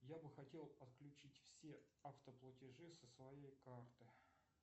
я бы хотел отключить все автоплатежи со своей карты